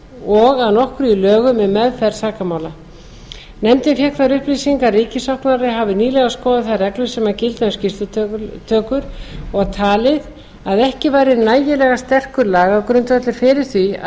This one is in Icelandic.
og að nokkru í lögum um meðferð sakamála nefndin fékk þær upplýsingar að ríkissaksóknari hafi nýlega skoðað þær reglur sem gilda um skýrslutökur og talið að ekki væri nægilega sterkur lagagrundvöllur fyrir því að